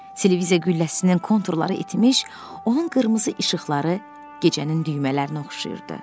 Televiziya qülləsinin konturları itmiş, onun qırmızı işıqları gecənin düymələrinə oxşayırdı.